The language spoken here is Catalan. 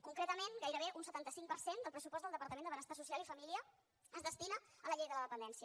concretament gairebé un setanta cinc per cent del pressupost del departament de benestar social i família es destina a la llei de la dependència